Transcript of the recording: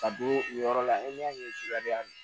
Ka don o yɔrɔ la e ɲɛ ye subaleya min